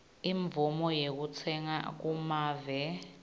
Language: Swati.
imvumo yekutsenga kumave